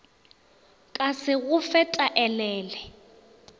ka se go fe taelele